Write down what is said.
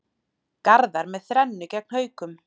Garðar með þrennu gegn Haukum